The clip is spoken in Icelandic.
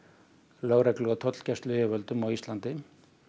lögreglu og tollgæsluyfirvöldum á Íslandi